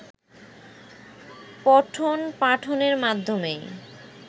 পঠনপাঠনের মাধ্যমেই